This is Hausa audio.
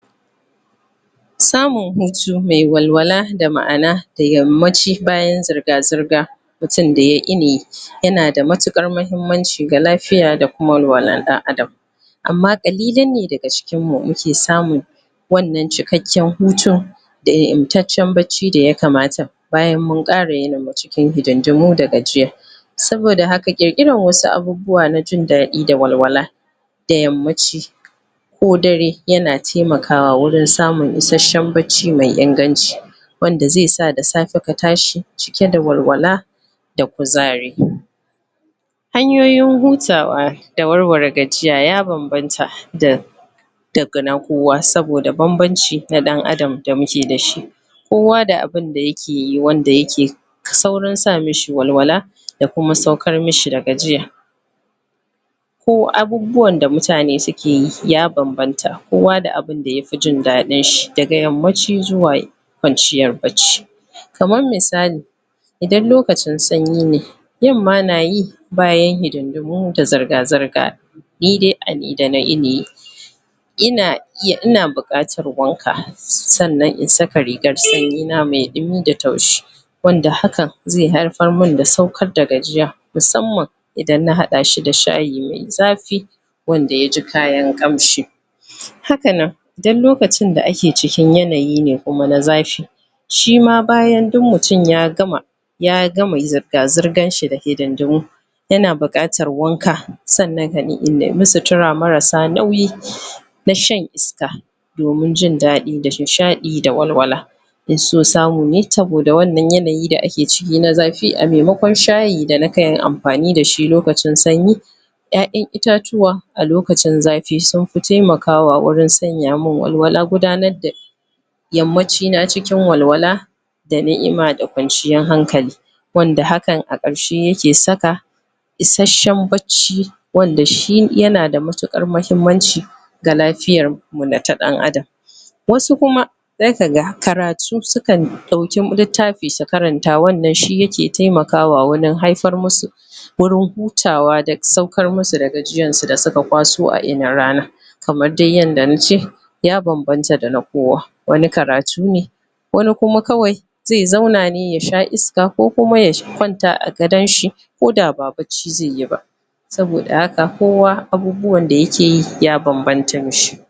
samun hutu me walwala da maʼana da yammaci bayan zirga-zirga mutun da ya ini yanada matuƙar mahimmanci ga lafiya dakuma walwalan ɗan adam amma ƙalilan ne daga cikinmu muke samun wannan cikakken hutun da ingantaccen bacci da ya kamata bayan mun ƙare cikin hididdimu da gajiya saboda haka ƙirkiran wasu abubuwa na jin daɗi da walwala da yammaci ko dare yana taimakawa wurin samun isasshen bacci mai inganci wanda ze sa da safe ka tashi cike da walwala da kuzari. Hanyoyin hutawa da warware gajiya ya banbanta da daga na kowa saboda banbanci na ɗan adam da muke da shi kowa da abinda yake yi wanda yake saurin sa mishi walwala da kuma saukar mishi da gajiya ko abubuwanda mutane suke yi ya banbanta kowa da abinda yafi jin dadinshi daga yammaci zuwa kwanciyar bacci kaman misali idan lokacin sanyi ne yamma na yi bayan hididimu da zarga-zarga ni de ina ina buƙantar wanka sannan in saka rigar sanyi na mai ɗimi da taushi wanda haka ze haifarmun da saukar da gajiya musamman idan na haɗashi da shayi mai zafi wanda ya ji kayan kanshi haka nan idan lokacin da ake cikin yanayi ne kuma na zafi shima bayan duk mutum ya gama ya gama zirga-zirganshi da hididdimu yana buƙatar wanka sannan in nemi sutura marasa nauyi na shan iska domin jin daɗi da nishadi da walwala in so samu ne saboda wannan yanayi da ake ciki na zafi a memakon shayi da nake amfani dashi lokacin sanyi ƴaƴan itatuwa a lokacin zafi sunfi taimakawa wurin sanya mun walwala gudanar da yammacina cikin walwala da niʼma da kwanciyan hankali wanda hakan a karshe yake saka issashen bacci wanda shi yana da matuƙar mahimmanci ga lafiyarmu na ta ɗan adam wasu kuma za ka ga karutu sukan ɗauki littafi su karanta wannan shi yake taimakawa warin haifar musu wurin hutawa da saukar musu da gajiyarsu da suka kwaso a inin rana kamar de yanda na ce ya banbanta da na kowa wani karatu ne wani kuma kawai ze zauna ne ya sha iska ko kuma ya kwanta a gadanshi ko da ba bacci ze yi ba saboda haka kowa abubuwan da yakeyi ya banbanta mishi